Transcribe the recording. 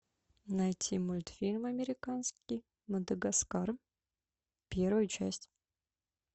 найти мультфильм американский мадагаскар первая часть